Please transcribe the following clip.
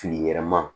Filiyɛrɛ man